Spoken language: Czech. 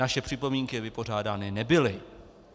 Naše připomínky vypořádány nebyly.